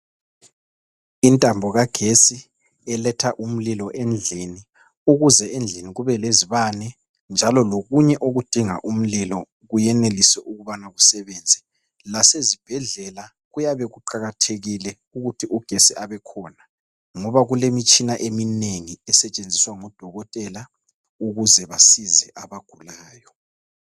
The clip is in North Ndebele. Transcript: Intambo kagetsi eletha umlilo endlini ukuze endlini kube lezibane njalo lokunye okudinga umlilo kuyenelise ukubana kusebenze. Lasezibhedlela kuyabe kuqakathekile ukuthi ugesi abekhona, ngoba kulemitshina eminengi esetshenziswa ngo dokotela ukuze basize abagulayo.